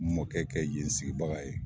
Mɔkɛ kɛ yen sigibaga ye.